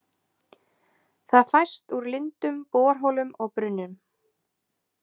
Það fæst úr lindum, borholum og brunnum.